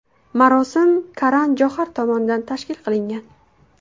Marosim Karan Johar tomonidan tashkil qilingan.